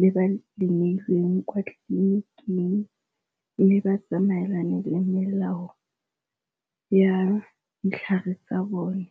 le ba le neilweng kwa tleliniking. Mme ba tsamaelane le melao ya ditlhare tsa bone.